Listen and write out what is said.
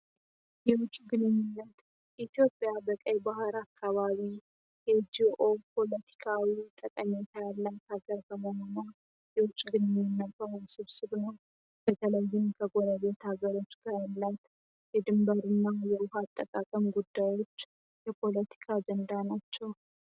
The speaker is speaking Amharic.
የውጭ ግንኙነት ኢትዮጵያ በቀይ ባህር አካባቢ የጂኦ ፖለቲካዊ ጠቀሜታ ያላት ሀገር በመሆኗ የውጭ ግንኙነት በር ውስብስብ ነው። በተለይም ከጎረቤት ሀገሮች ጋር ያላት የድንበር እና የውሃ አጠቃቅም ጉዳዮች የፖለቲካ ጀንዳ ናቸው።